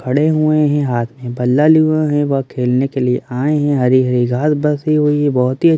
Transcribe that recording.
खड़े हुए हैं हाथ में बल्ला लिए हुए हैं वह खेलने के लिए आए हैं हरी हरी घास बसी हुई है बहुत ही--